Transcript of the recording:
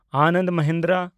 Anand Mahindra